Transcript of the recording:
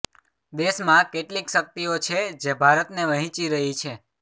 દેશમાં કેટલીક શક્તિઓ છે જે ભારતને વહેંચી રહી છે